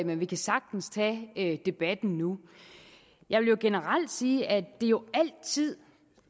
men vi kan sagtens tage debatten nu jeg vil generelt sige at det jo altid